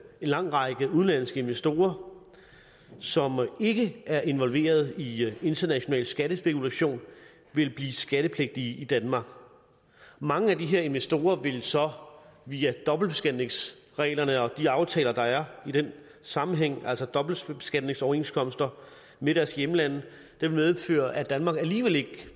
en lang række udenlandske investorer som ikke er involveret i international skattespekulation vil blive skattepligtige i danmark for mange af de her investorer vil det så via dobbeltbeskatningsreglerne og de aftaler der er i den sammenhæng altså dobbeltbeskatningsoverenskomsterne med deres hjemlande medføre at danmark alligevel ikke